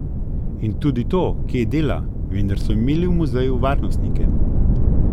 In tudi to, kje dela, vendar so imeli v muzeju varnostnike.